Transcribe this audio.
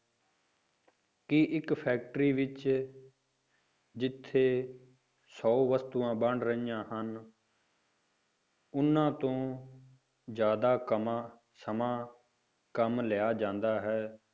ਕਿ ਇੱਕ factory ਵਿੱਚ ਜਿੱਥੇ ਸੌ ਵਸਤੂਆਂ ਬਣ ਰਹੀਆਂ ਹਨ ਉਹਨਾਂ ਤੋਂ ਜ਼ਿਆਦਾ ਕਮਾ ਸਮਾਂ ਕੰਮ ਲਿਆ ਜਾਂਦਾ ਹੈ,